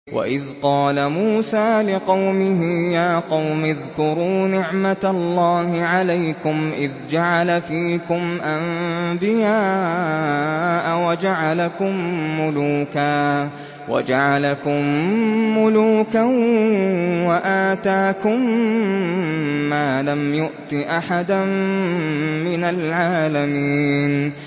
وَإِذْ قَالَ مُوسَىٰ لِقَوْمِهِ يَا قَوْمِ اذْكُرُوا نِعْمَةَ اللَّهِ عَلَيْكُمْ إِذْ جَعَلَ فِيكُمْ أَنبِيَاءَ وَجَعَلَكُم مُّلُوكًا وَآتَاكُم مَّا لَمْ يُؤْتِ أَحَدًا مِّنَ الْعَالَمِينَ